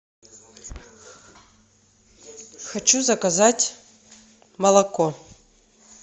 хочу заказать молоко